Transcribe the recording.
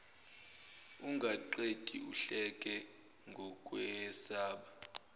ungaqedi uhleka ngokwesaba